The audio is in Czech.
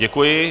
Děkuji.